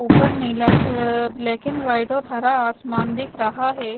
ऊपर नीला अह ब्लैक एंड व्हाइट और हरा आसमान दिख रहा है।